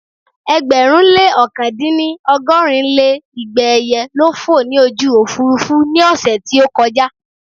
Ẹgbẹ̀rún lé ọ̀kan-dín-ní ọgọ́rin lé igba ẹyẹ ló fò ní ojú Òfurufú ní ọ̀sẹ̀ tí ó kọjà